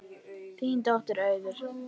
Þín dóttir, Auður.